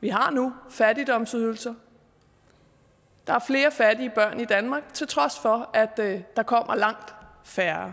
vi har nu fattigdomsydelser der er flere fattige børn i danmark til trods for at der kommer langt færre